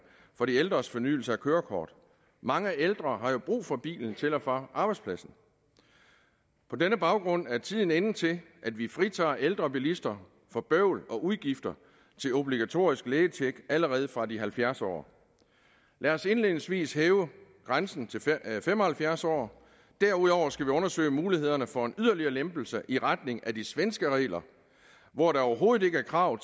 for de ældres fornyelse af kørekort mange ældre har jo brug for bilen til og fra arbejdspladsen på denne baggrund er tiden inde til at vi fritager ældre bilister for bøvl og udgifter til obligatorisk lægetjek allerede fra de halvfjerds år lad os indledningsvis hæve grænsen til fem og halvfjerds år derudover skal vi undersøge mulighederne for en yderligere lempelse i retning af de svenske regler hvor der overhovedet ikke er krav